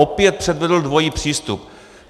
Opět předvedl dvojí přístup.